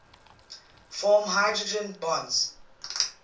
form hydrogen bonds